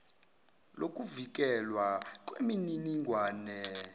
lokuvikelwa kweminining wane